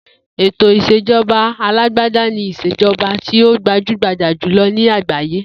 Ètò ìs̩èjo̩ba alágbádá ni ìs̩èjo̩ba tí ó gbajúgbajà jùlo̩ ní àgbáyé